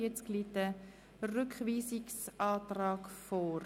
Zu Artikel 141 liegt ein Rückweisungsantrag vor.